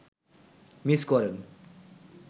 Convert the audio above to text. miss করেন